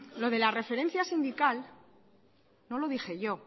lo de la referencia sindical no lo dije yo